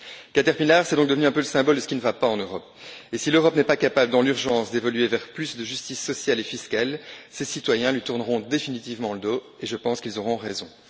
Caterpillar est donc devenu un peu le symbole de ce qui ne va pas en Europe, et, si l'Europe n'est pas capable dans l'urgence d'évoluer vers plus de justice sociale et fiscale, ses citoyens lui tourneront définitivement le dos, et je pense qu'ils auront raison.